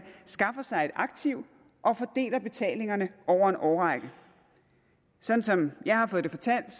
skaffer sig et aktiv og fordeler betalingerne over en årrække sådan som jeg har fået det fortalt